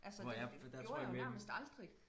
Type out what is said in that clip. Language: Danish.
Altså det gjorde jeg jo nærmest aldrig